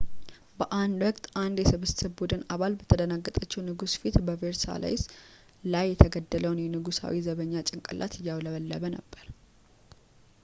በአንድ ወቅት አንድ የስብስብ ቡድን አባል በተደናገጠችው ንግሥት ፊት በቬርሳይለስ ላይ የተገደለውን የንጉሣዊ ዘበኛ ጭንቅላት እያውለበለበ ነበር